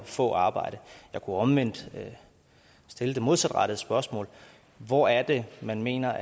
få arbejde jeg kunne omvendt stille det modsatte spørgsmål hvor er det man mener